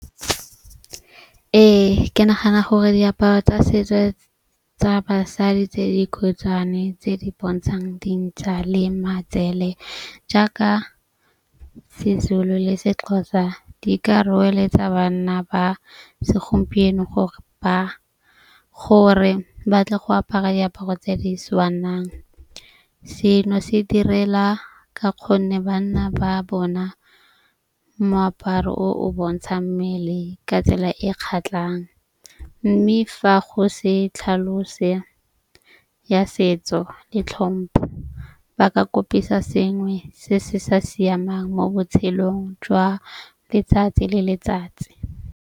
Ee, ke nagana gore diaparo tsa setso tsa basadi tse dikhutshwane tse di bontshang dintsha le matsele. Jaaka se-Zulu le se-Xhosa di ka roeletsa bana ba segompieno gore ba gore batle go apara diaparo tse di tshwanang. Seno se direla ka kgonne banna ba bona moaparo o o bontshang mmele ka tsela e kgatlhang. Mme fa go se tlhalose ya setso le tlhompho ba ka kopisa sengwe se se sa siamang mo botshelong jwa letsatsi le letsatsi.